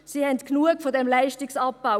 Sie haben genug von diesem Leistungsabbau.